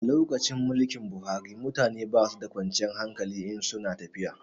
A lokacin mulkin Buhari mutane basu da kwanciyar hankali in su na tafiya